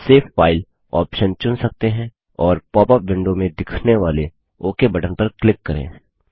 save file option चुन सकते हैं और पॉपअप विंडो में दिखने वाले ओक बटन पर क्लिक करें